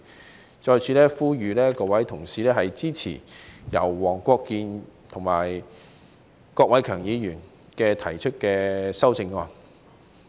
我再次呼籲各位同事支持黃國健議員和郭偉强議員提出的修正案。